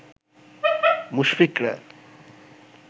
মুশফিকরা